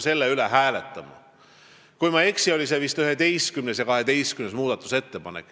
Kui ma ei eksi, siis olid need muudatusettepanekud nr 11 ja 12.